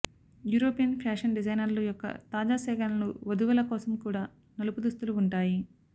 European fashion డిజైనర్లు యొక్క తాజా సేకరణలు వధువుల కోసం కూడా నలుపు దుస్తులు ఉంటాయి